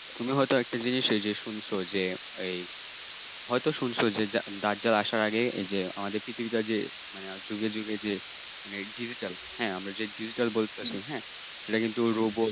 তুমি হয়তো একটা জিনিস এই যে শুনছো যে, এই হয়তো শুনছো যে দাজ্জাল আসার আগে যে আমাদের পৃথিবীটা যে যুগে যুগে যে মানে digital হ্যাঁ আমরা যে digital বলতেছি হ্যাঁ সেটা কিন্তু robot